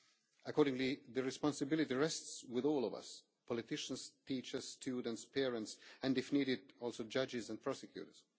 Accordingly, the responsibility rests with all of us politicians, teachers, students, parents and, if need be, also judges and prosecutors.